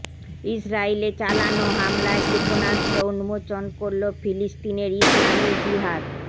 ইসরাইলে চালানো হামলায় ক্ষেপণাস্ত্র উন্মোচন করল ফিলিস্তিনের ইসলামি জিহাদ